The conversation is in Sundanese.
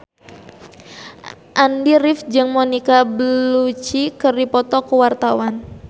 Andy rif jeung Monica Belluci keur dipoto ku wartawan